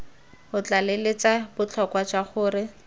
o tlaleletsa botlhokwa jwa gore